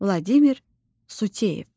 Vladimir Suteyev.